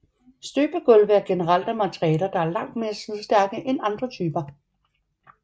Støbegulve er generelt af materialer der er langt mere slidstærke end andre typer